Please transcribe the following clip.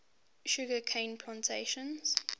sugar cane plantations